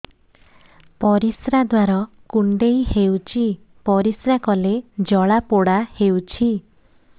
ପରିଶ୍ରା ଦ୍ୱାର କୁଣ୍ଡେଇ ହେଉଚି ପରିଶ୍ରା କଲେ ଜଳାପୋଡା ହେଉଛି